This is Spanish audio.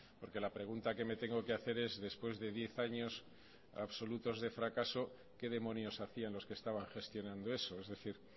porque la pregunta que me tengo que hacer es después de diez años absolutos de fracaso qué demonios hacían los que estaban gestionando eso es decir